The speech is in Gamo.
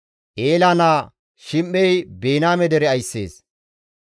Eela naa Shim7ey Biniyaame dere ayssees.